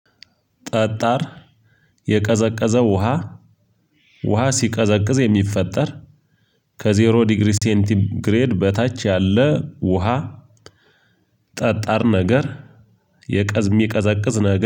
ጠጣር የቀዘቀዘው ውሃ። ውሃ ሲቀዘቅዝ የሚፈጠር ከዜሮ ዲግሪ ሴንቲ ግሬድ በታች ያለ ውሃ። ጠጣር ነገር። የቀዝ ሚቀዘቅዝ ነገር